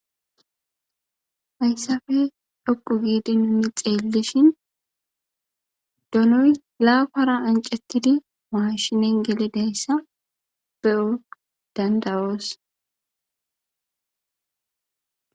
Haysappe dhoqu gidi nuni xelishin donoy lafara ancetidi mashshinnen gelidayisa be7o danda7os.